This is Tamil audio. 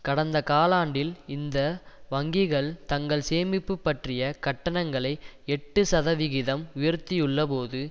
கடந்த காலாண்டில் இந்த வங்கிகள் தங்கள் சேமிப்பு பற்றிய கட்டணங்களை எட்டு சதவிகிதம் உயர்த்தியுள்ளபோது